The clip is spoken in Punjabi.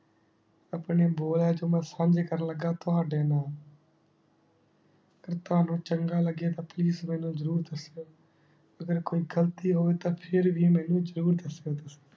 ਅਪਨੇ ਬੋਰ ਆਯ੍ਤਮਾ ਸੰਨੀ ਕਰਨ ਲਗਾ ਤਾਵਾਡੀ ਨਾਲ ਤਾਵਾਨੁ ਚੰਗਾ ਲਗੇ ਤਾ please ਮੈਨੂ ਜ਼ਰੋਰ ਦਾਸ੍ਯੋ ਅਗਰ ਕੋਈ ਗਲਤੀ ਹੋ ਹੋਵੀ ਤਾ ਫਿਰ ਵੀ ਮੈਨੂ ਜਰੂਰ ਦਾਸ੍ਯੋ ਤੁਸੀਂ